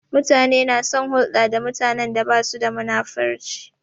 Mutane na son hulɗa da mutanen da basu da munafurci